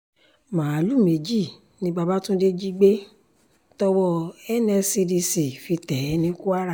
máàlùú méjì ni bàbáfúndé jí gbé tọwọ́ nscdc fi tẹ̀ ẹ́ ní kwara